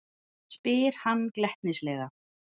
spyr hann glettnislega.